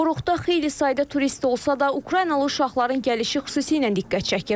Qoruqda xeyli sayda turist olsa da, Ukraynalı uşaqların gəlişi xüsusi ilə diqqət çəkir.